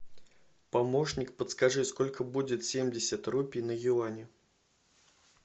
помощник подскажи сколько будет семьдесят рупий на юани